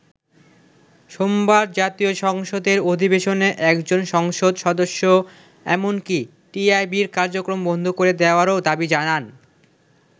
সোমবার জাতীয় সংসদের অধিবেশনে একজন সংসদ সদস্য এমনকি টিআইবির কার্যক্রম বন্ধ করে দেয়ারও দাবি জানান।